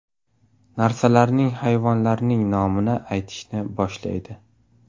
Narsalarning, hayvonlarning nomini aytishni boshlaydi.